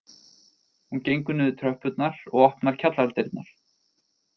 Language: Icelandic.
Hún gengur niður tröppurnar og opnar kjallaradyrnar